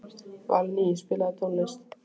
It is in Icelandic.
Valný, spilaðu tónlist.